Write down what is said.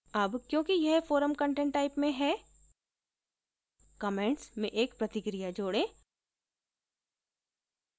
अब क्योंकि यह forum content type में है comments में एक प्रतिक्रिया जोड़ें